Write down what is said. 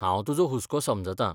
हांव तुजो हुसको समजतां.